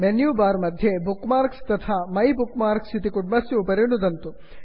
menu bar मध्ये bookmarks मार्क्स् तथा माइबुकमार्क्स मै बुक् मार्क्स् इत्यस्य उपरि नुदन्तु